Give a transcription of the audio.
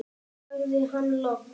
sagði hann loks.